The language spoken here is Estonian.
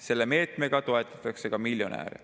Selle meetmega toetatakse ka miljonäre.